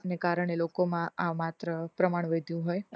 ને કારણે લોકોમાં આ માત્ર પ્રમાણ વધ્યું હોય